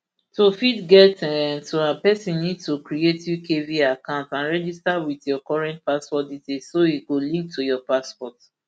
to fit get um to am pesin need to create ukvi account and register wit your current passport details so e go link to your passport